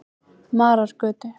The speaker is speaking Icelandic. Marargötu